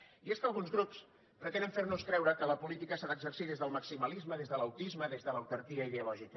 i és que alguns grups pretenen fer nos creure que la política s’ha d’exercir des del maximalisme des de l’autisme des de l’autarquia ideològica